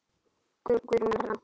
Guðrún Erna.